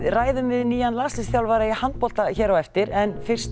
ræðum við nýjan landsliðsþjálfara í handbolta hér á eftir en fyrst